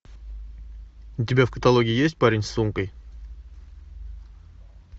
у тебя в каталоге есть парень с сумкой